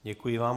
Děkuji vám.